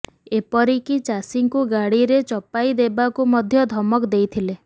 ଏପରିକି ଚାଷୀଙ୍କୁ ଗାଡିରେ ଚପାଇ ଦେବାକୁ ମଧ୍ୟ ଧମକ ଦେଇଥିଲେ